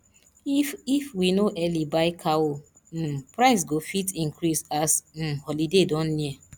if if we no early buy cow um price go fit increase as um holiday don near